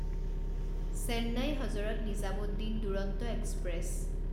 Chennai Hazrat Nizamuddin Duronto express